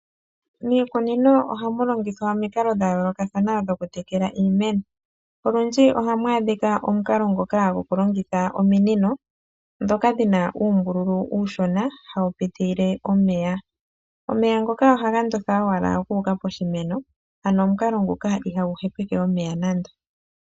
Miikunino ohamu longithwa omikalo dha yoolokathana dho kutekela iimeno. Olundji ohamu adhika omukalo ngoka gokulongitha omunino dhoka dhina uumbululu uushona hawu pitile omeya. Omeya ngoka ohaga ndotha owala guka poshimeno ano omukalo nguka ihagu hepeke omeya nando.